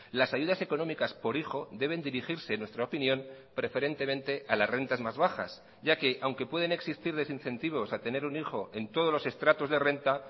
las ayudas económicas por hijo deben dirigirse en nuestra opinión preferentemente a las rentas más bajas ya que aunque pueden existir desincentivos a tener un hijo en todos los estratos de renta